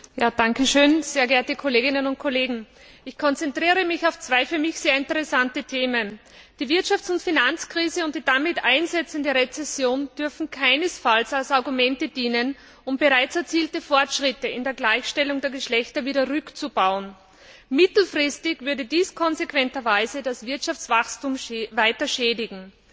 Herr Präsident, Kolleginnen und Kollegen! Ich konzentriere mich auf zwei für mich sehr interessante Themen Die Wirtschafts und Finanzkrise und die damit einsetzende Rezession dürfen keinesfalls als Argumente dafür dienen, um bereits erzielte Fortschritte in der Gleichstellung der Geschlechter wieder rückzubauen. Mittelfristig würde dies konsequenterweise das Wirtschaftswachstum weiter schädigen.